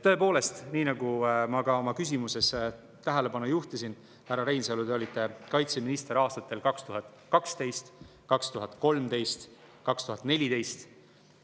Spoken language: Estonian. Tõepoolest, nii nagu ma ka oma küsimuses tähelepanu juhtisin, härra Reinsalu, te olite kaitseminister aastatel 2012, 2013, 2014.